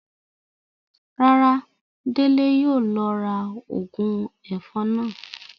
Rárá, Dele yóò lọ ra óogun èfọn náa.